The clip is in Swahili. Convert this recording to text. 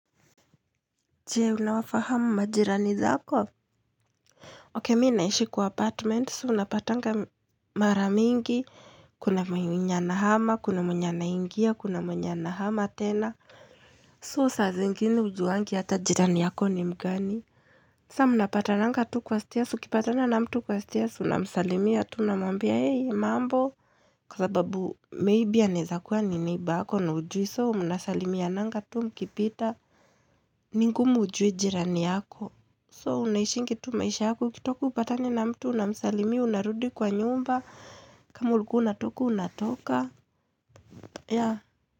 Je, unawafahamu majirani zako? Ok, mimi naishi kwa apartment. So, unapatanga mara mingi. Kuna mwenye anahama, kuna mwenye anaingia, kuna mwenye anahama tena. So, saa zingine hujuwangi hata jirani yako ni mgani. Sasa, munapatananga tu kwa stairs. Ukipatana na mtu kwa stairs. Unamsalimia tu. Unamambia, hey, mambo. Kwa sababu, maybe anaweza kuwa ni neighbor na haujui. So, munasalimiananga tu mkipita. Mingumu ujui jirani yako. So, unaishingi tu maisha yako ukitoka upatane na mtu unamsalimia unarudi kwa nyumba. Kama ulikuwa unatoka unatoka.